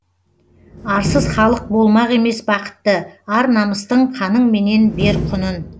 арсыз халық болмақ емес бақытты ар намыстың қаныңменен бер құнын